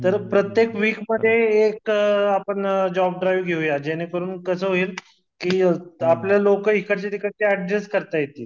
तर प्रत्येक वीकमध्ये एक जॉब ड्राईव्ह घेऊया ज्याने करून कसं होईल कि आपल्या लोक इकडच्या तिकडचे अड्जस्ट करता येतील